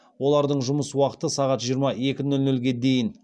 олардың жұмыс уақыты сағат жиырма екі нөл нөлге дейін